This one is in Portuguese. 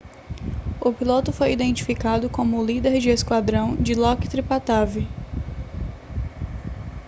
o piloto foi identificado como o líder de esquadrão dilokrit pattavee